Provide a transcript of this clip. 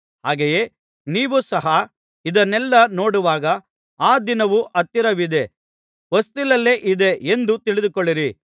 ಹಾಗೆಯೇ ನೀವು ಸಹ ಇದನ್ನೆಲ್ಲಾ ನೋಡುವಾಗ ಆ ದಿನವು ಹತ್ತಿರವಿದೆ ಹೊಸ್ತಿಲಲ್ಲೇ ಇದೆ ಎಂದು ತಿಳಿದುಕೊಳ್ಳಿರಿ